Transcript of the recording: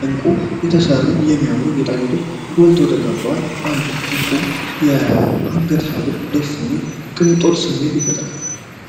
በእንቁ የተሰሩ የሚያምሩ ጌጣጌጦች ጎልተው ተቀምጠዋል። አንድ የእንቁ የአንገት ሐብል ደስ የሚል የቅንጦት ስሜት ይፈጥራል።